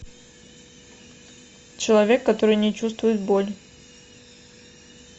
человек который не чувствует боль